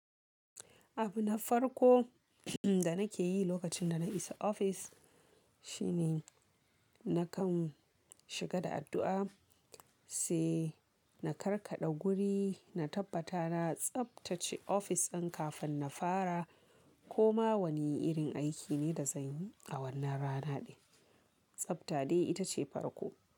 Abu na farko da nake yi lokacin da na isa ofis. Shine na kan shiga da addu'a, sai na karkaɗa guri, na tabbata na tsabtace ofis ɗin kafin na fara. Ko ma wanne irin aiki ne da zan yi a wannan rana ɗin. Tsabta de ita ce farko.